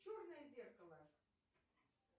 черное зеркало